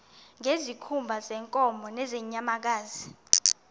ngezikhumba zeenkomo nezeenyamakazi